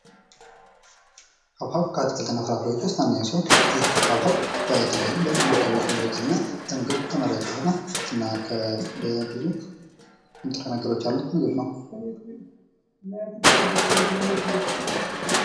ሃብሃብ ከአትክልት እና ፍራፍሬዎች ዉስጥ አንደኛው ሲሆን ይህ ሃብሃብ በተለያዩ በረሃማ አካባቢዎች የሚበቅል እና ለምግብ ተመራጭ የሆነ እና ብዙ ንጥረ ነገሮች ያሉት ምግብ ነው።